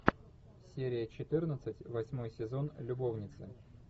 серия четырнадцать восьмой сезон любовницы